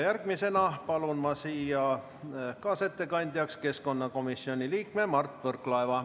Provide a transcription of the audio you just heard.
Järgmisena palun ma siia kaasettekandjaks keskkonnakomisjoni liikme Mart Võrklaeva.